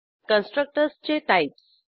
कन्स्ट्रक्टर्सचे types